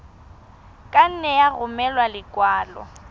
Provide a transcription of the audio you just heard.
ka nne ya romela lekwalo